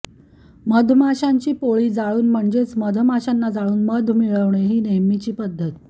मधमाशांची पोळी जाळून म्हणजेच मधमाशांना जाळून मध मिळवणे ही नेहमीची पद्धत